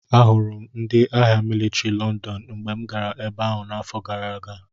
Ahụrụ m ndị agha mịlịtrị Lọndọn mgbe m gara ebe ahụ n’afọ gara aga.